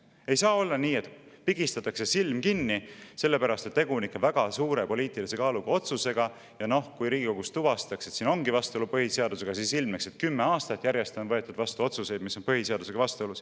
Ei saa olla nii, et pigistatakse silm kinni sellepärast, et tegu on väga suure poliitilise kaaluga otsusega ja kui Riigikogus tuvastatakse, et siin ongi vastuolu põhiseadusega, siis ilmneks, et kümme aastat järjest on võetud vastu otsuseid, mis on põhiseadusega vastuolus.